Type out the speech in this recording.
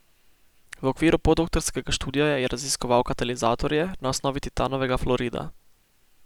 V okviru podoktorskega študija je raziskoval katalizatorje na osnovi titanovega fluorida.